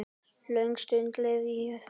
Löng stund leið í þögn.